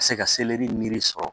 Ka se ka seleri niri sɔrɔ